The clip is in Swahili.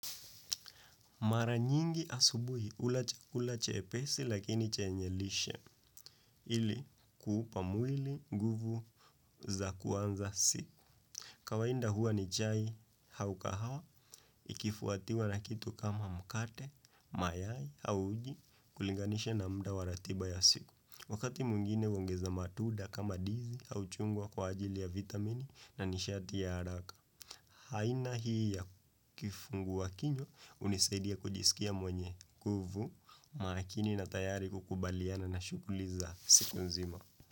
Mara nyingi asubuhi hula chakula chepesi lakini chenye lishe ili kuupa mwili guvu za kuanza siku. Kawaida huwa ni chai hau kahawa ikifuatiwa na kitu kama mkate, mayai au uji kulinganisha na mda wa ratiba ya siku. Wakati mungine huongeza matuda kama ndizi au chungwa kwa ajili ya vitamini na nishati ya haraka. Haina hii ya kifungua kinywa unisaidia kujisikia mwenye nguvu makini na tayari kukubaliana na shughuli za siku nzima.